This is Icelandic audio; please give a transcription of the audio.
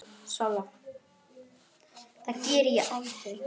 Hann lítur upp.